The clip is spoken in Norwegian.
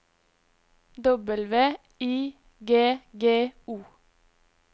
W I G G O